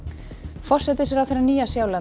forsætisráðherra Nýja Sjálands